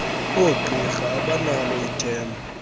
oogqirha abanalo ithemba